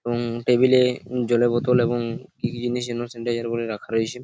এবং টেবিল -এ জলের বোতল এবং কি কি জিনিস স্যানিটাইজার বলে রাখা রয়েছে ।